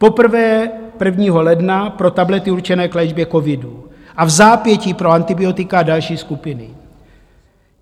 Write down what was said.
Poprvé 1. ledna pro tablety určené k léčbě covidu a vzápětí pro antibiotika a další skupiny.